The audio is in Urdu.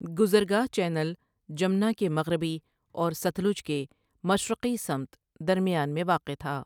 گزرگاہ چینل جمنا کے مغربی اور ستلج کے مشرقی سمت درمیان میں واقع تھا ۔